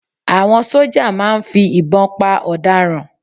Àwọn sójà màá ń fi ìbọn pa ọ̀daràn